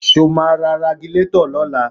Ṣé o máa ra Ragilatọ̀ lọ́la?